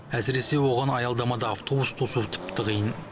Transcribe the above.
әсіресе оған аялдамада автобус тосуы тіпті қиын